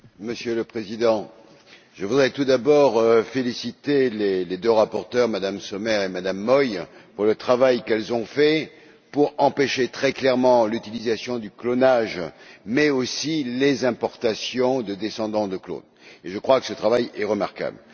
Monsieur le Président, je voudrais tout d'abord féliciter les deux rapporteures, Mme Sommer et Mme Moi, pour le travail qu'elles ont effectué afin d'empêcher très clairement l'utilisation du clonage, mais aussi les importations de descendants de clones et je crois que ce travail est remarquable.